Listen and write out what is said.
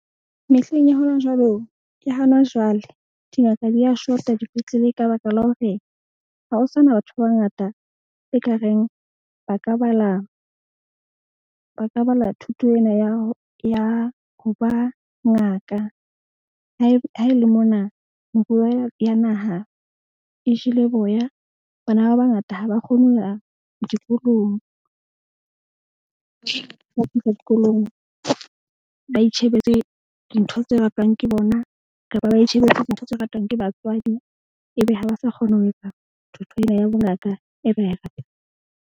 Mehleng ya hona jwalo, ke hana jwale dingaka di a shota dipetlele ka baka la hore ha ho sana batho ba bangata ekareng ba ka bala thuto ena ya ho ba ngaka. Ha ele mona, moruo wa ya naha e jele boya. Bana ba bangata ha ba kgone ho ya dikolong. Ba itjhebetse dintho tse ratwang ke bona kapa ba itjhebetse dintho tse ratwang ke batswadi ebe ha ba sa kgone ho etsa thuto ena ya bongaka e ba e ratang.